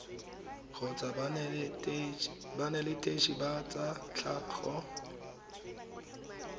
kgotsa banetetshi ba tsa tlhago